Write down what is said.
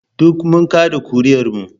Duk mun kada ƙuri'ar mu